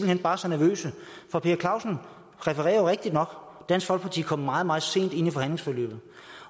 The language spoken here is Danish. hen bare så nervøse for per clausen refererer jo rigtigt nok dansk folkeparti kom meget meget sent ind i forhandlingsforløbet